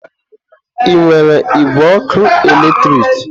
Ị nwere igwe ọkụ eletrik?